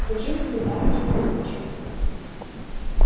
зачем тебе барский тулупчик